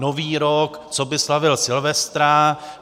Nový rok - co by slavil Silvestra.